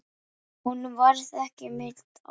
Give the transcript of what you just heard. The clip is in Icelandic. Honum varð ekki meint af.